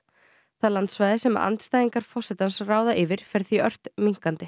það landsvæði sem andstæðingar forsetans ráða yfir fer því ört minnkandi